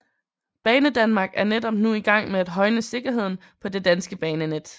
Banedanmark er netop nu i gang med at højne sikkerheden på det danske banenet